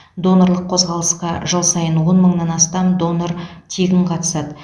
донорлық қозғалысқа жыл сайын он мыңнан астам донор тегін қатысады